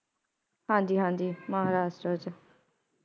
ਹਾਂਜੀ ਹਾਂਜੀ ਮਹਾਰਾਸ਼ਟਰ ਚ